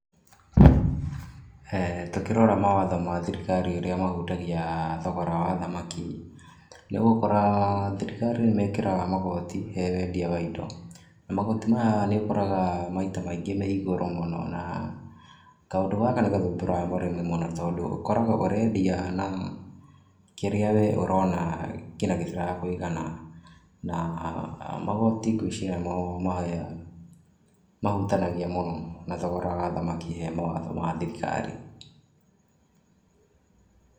Tũkĩrora mawatho ma thirikari ũrĩa mahutagia thogora wa thamaki, nĩũgũkora thirikari nĩ mekĩraga magoti he wendia wa indo, na magoti maya nĩ ũkoraga maita maingĩ me igũrũ mũno, na kaũndũ gaka nĩ gathumbũraga mũrĩmi mũno, tondũ ũkoraga ũrendia na kĩrĩa we ũrona nginya gĩtira kũigana, na magoti ngwĩciria nĩmo mahutanagia mũno na thogora wa thamaki he mawatho ma thirikari.